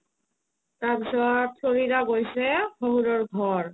Florida গৈছে শহুৰৰ ঘৰ